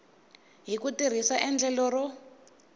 hi ku tirhisa endlelo ro